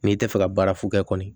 Mɛ i tɛ fɛ ka baara f'u kɛ kɔni